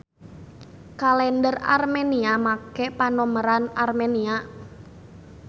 Kalender Armenia make panomeran Armenia.